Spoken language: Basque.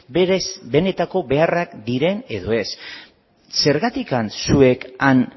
berez benetako beharrak diren edo ez zergatik zuek han